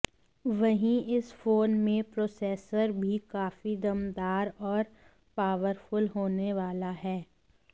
वहीं इस फोन में प्रोसेसर भी काफी दमदार और पॉवरफुल होने वाला है